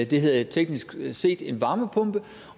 det hedder teknisk set en varmepumpe